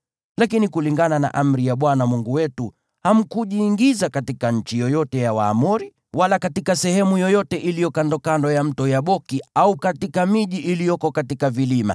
Lakini kulingana na amri ya Bwana Mungu wetu, hamkujiingiza katika nchi yoyote ya Waamoni, wala katika sehemu yoyote iliyo kandokando ya Mto Yaboki, wala katika miji iliyoko katika vilima.